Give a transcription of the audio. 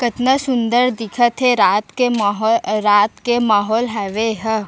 कतना सुन्दर दिखत हे रात के मोहो अ रात के माहौल हावे एहा--